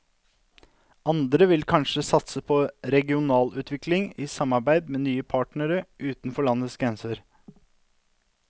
Andre vil kanskje satse på regionalutvikling i samarbeid med nye partnere utenfor landets grenser.